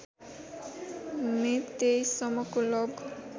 मे २३ सम्मको लग